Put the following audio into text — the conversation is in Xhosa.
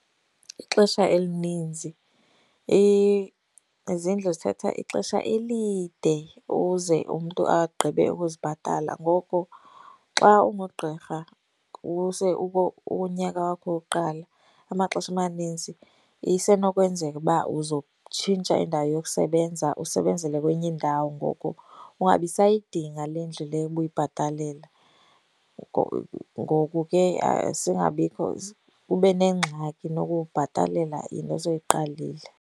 Ixesha elininzi izindlu zithatha ixesha elide ukuze umntu agqibe ukuzibhatala. Ngoku xa ungugqirha ukunyaka wakho wokuqala, amaxesha amaninzi isenokwenzeka uba uzokutshintsha indawo yokusebenza, usebenzele kwenye indawo ngoku ungabi sayidinga le ndlu le ubuyibhatalela. Ngoku ke singabikho ube nengxaki nokubhatalela into osoyiqalile.